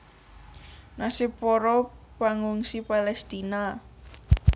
Nasib para pangungsi Palestina